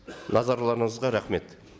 назарларыңызға рахмет